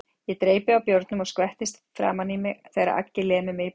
Ég dreypi á bjórnum og skvettist framan á mig þegar Aggi lemur mig í bakið.